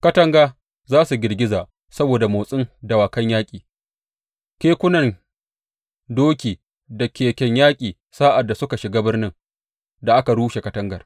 Katanga za su girgiza saboda motsin dawakan yaƙi, kekunan doki da keken yaƙin sa’ad da suka shiga birnin da aka rushe katangar.